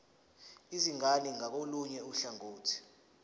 izingane ngakolunye uhlangothi